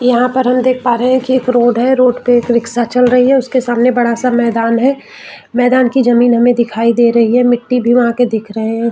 यहाँ पर हम देख पा रहे है की एक रोड है रोड पे एक रिक्शा चल रही है उसके सामने बड़ा सा मैदान है मैदान की जमींन हमें दिखाई दे रही है मिट्ठी भी वहाँ के दिख रहे है।